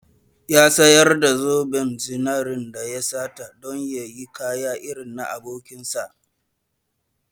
Ya sayar da zoben zinaren da ya sata don ya sayi kaya irin na abokinsa.